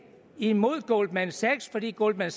imod goldman sachs fordi goldman